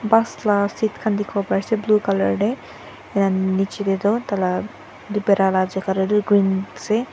first class seat khan dekhi bo pai ase blue colour te ran niche te tu tar laga pera laga jagah te tu green ase.